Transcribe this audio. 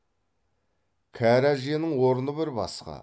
кәрі әжеңнің орны бір басқа